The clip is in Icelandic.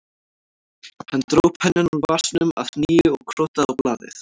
Hann dró pennann úr vasanum að nýju og krotaði á blaðið